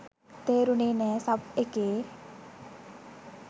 තේරුනේ නෑ! සබ් එකේ